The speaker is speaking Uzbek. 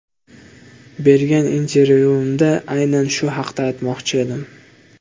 Bergan intervyuimda aynan shu haqda aytmoqchi edim.